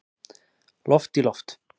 Loft í loft